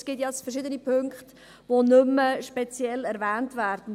Es gibt ja verschiedene Punkte, die nicht mehr speziell erwähnt werden.